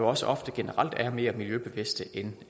også ofte generelt er mere miljøbevidste end